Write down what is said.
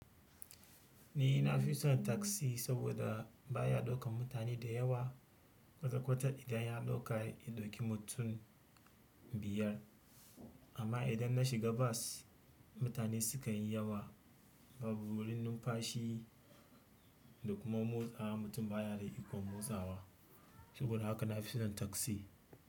Ni na fi son taksi saboda ba ya ɗaukan mutane da yawa. Kwata-kwata idan ya ɗauka, ya ɗauki mutum biyar. Amma idan na shiga bas, mutane sukan yi yawa. Babu wurin numfashi da kuma motsawa, mutum ba ya da ikon motsawa. Saboda haka na fi son taksi.